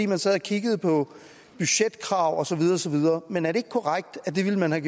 man sad og kiggede på budgetkrav og så videre og så videre men er det ikke korrekt at det ville man have